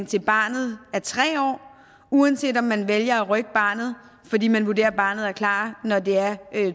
til barnet er tre år uanset om man vælger at rykke barnet fordi man vurderer at barnet er klar når det er